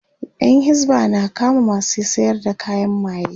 Yan hisba na kama masu sayar da kayan maye